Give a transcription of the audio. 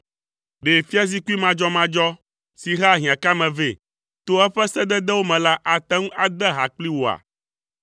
Ɖe fiazikpui madzɔmadzɔ si hea hiãkame vɛ to eƒe sededewo me la ate ŋu ade ha kpli wòa?